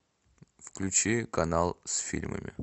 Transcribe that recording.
включи канал с фильмами